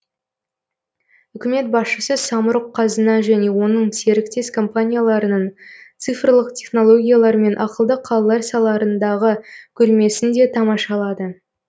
үкімет басшысы самұрық қазына және оның серіктес компанияларының цифрлық технологиялар мен ақылды қалалар салаларындағы көрмесін де тамашалады